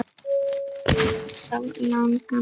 Elska þig alltaf, langa mín.